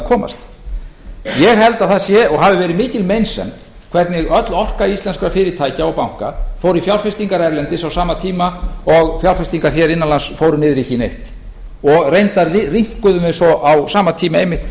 komast ég held að það sé og hafi verið mikil meinsemd hvernig öll orka íslenskra fyrirtækja og banka fór í fjárfestingar erlendis á sama tíma og fjárfestingar innan lands fóru niður í ekki neitt og reyndar rýmkuðu á sama tíma einmitt